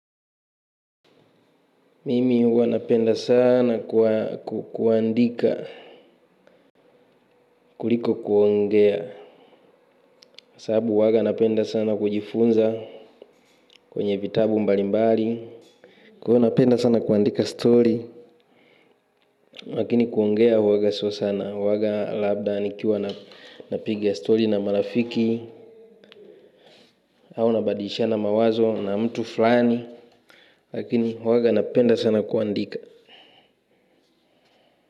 Mimi huwa napenda sana kuandika. Kuliko kuongea sababu huwaga napenda sana kujifunza. Kwenye vitabu mbalimbali kwa hivyo napenda sana kuandika stori lakini kuongea huwaga sio sana huwaga labda nikipiga stori na marafiki au nabadilishana mawazo na mtu fulani. Lakini waga napenda sana kuandika.